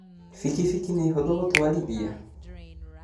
Bikibiki nĩ hũthũ gũtwarithia?